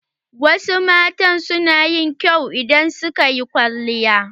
Wasu mata suna yin kyau idan suka yi kwalliya.